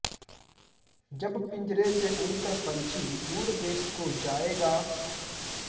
जब पिंजरे से उड़ कर पन्छी दूर देश को जायेगा